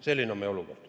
Selline on meie olukord.